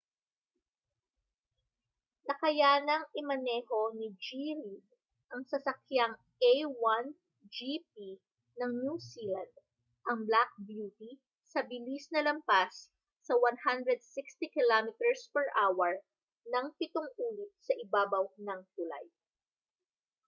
nakayanang imaneho ni g. reid ang sasakyang a1 gp ng new zealand ang black beauty sa bilis na lampas sa 160km/h nang pitong ulit sa ibabaw ng tulay